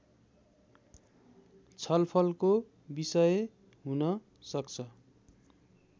छलफलको विषय हुन सक्छ